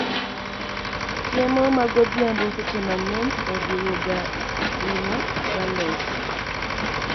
Chiemo magodhiambo seche mang'eny oriwo ga ring'o galot